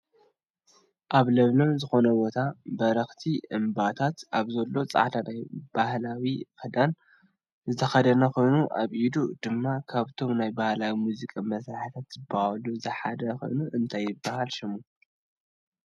ኣብ ለምለም ዝኮነ ቦታ በረክቲ እምባታት ኣብ ዘሎ ፃዕዳ ናይ ባህላዊ ክዳን ዝተከደነ ኮይኑ ኣብ ኢዱ ድማ ካብቶም ናይ ባህላዊ ሙዚቃ መሳርሕታት ዝብሃል ዝሓዘ ኮይኑ እንታይ ይብሃል ሽሙ?